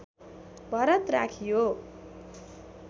भरत राखियो